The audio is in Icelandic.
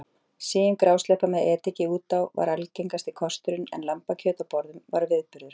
Sigin grásleppa með ediki út á var algengasti kosturinn en lambakjöt á borðum var viðburður.